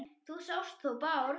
Þú sást þó Bárð?